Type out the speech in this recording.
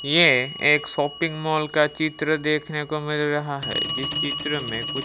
ये एक shopping mall का चित्र देखने को मिल रहा है जिस चित्र में कुछ--